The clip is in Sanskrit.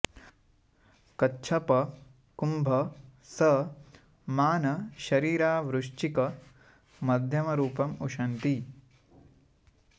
कच्छप कुम्भ स मान शरीरा वृश्चिक मध्यमरूपम् उशन्ति